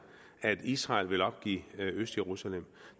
at israel vil opgive østjerusalem